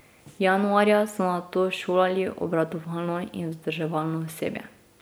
Januarja so nato šolali obratovalno in vzdrževalno osebje.